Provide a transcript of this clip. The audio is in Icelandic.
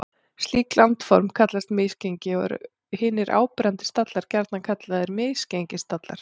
Slík landform kallast misgengi og eru hinir áberandi stallar gjarnan kallaðir misgengisstallar.